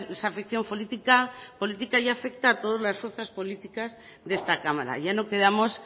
desafección política ya afecta a todas las fuerzas políticas de esta cámara ya no quedamos